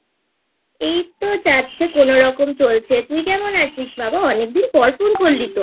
এইতো যাচ্ছে কোনোরকম চলছেI তুই কেমন আছিস বাবা? অনেকদিন পরPhoneকরলি তো?